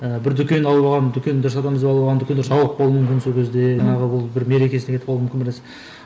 ы бір дүкен алып алған дүкендер сатамыз деп алып алған дүкендер жабылып қалуы мүмкін сол кезде жаңағы бір мерекесіне кетіп қалу мүмкін бір нәрсе